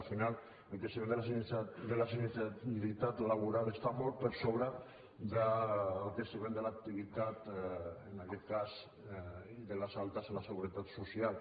al final el creixement de la sinistralitat laboral està molt per sobre del creixement de l’activitat en aquest cas i de les altes a la seguretat social